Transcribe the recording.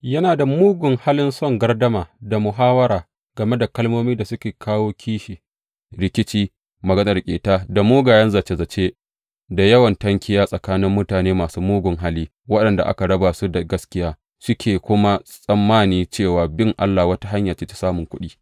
Yana da mugun halin son gardama da muhawwara game da kalmomin da suke kawo kishi, rikici, maganar ƙeta, da mugayen zace zace da yawan tankiya tsakanin mutane masu mugun hali, waɗanda aka raba su da gaskiya, suke kuma tsammani cewa bin Allah wata hanya ce ta samun kuɗi.